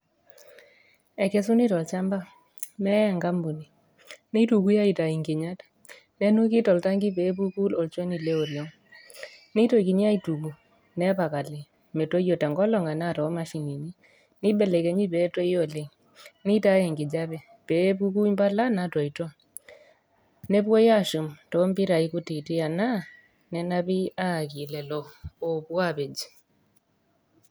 Ekesuni tolchamba neyae enkampuni, nitukui aitau nkinyat ,neisuji toltangi peepuku olchoni leoriong, ne nepali metoyio tenkolong arashu tomashinini ,neibelekenyi peetoi oleng, nitauni nkinyat peepuku mbala natoito ,nepuoi ashum tompirai kutitik anaa nenapiki ayaki lolo opuoapej.